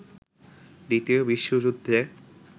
দ্বিতীয় বিশ্বযুদ্ধে